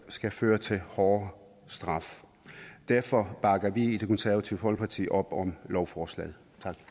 skal føre til hårdere straf derfor bakker vi i det konservative folkeparti op om lovforslaget